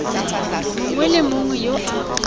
mongwe le mongwe yo a